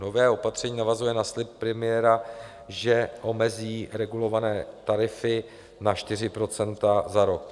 Nové opatření navazuje na slib premiéra, že omezí regulované tarify na 4 % za rok.